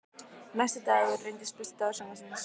Næsti dagur reynist besti dagur sumarsins.